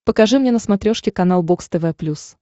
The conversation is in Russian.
покажи мне на смотрешке канал бокс тв плюс